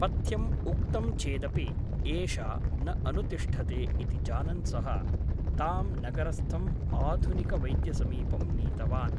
पथ्यम् उक्तं चेदपि एषा न अनुतिष्ठते ' इति जानन् सः तां नगरस्थम् आधुनिकवैद्यसमीपं नीतवान् ।